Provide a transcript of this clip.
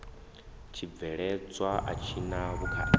tshibveledzwa a tshi na vhukhakhi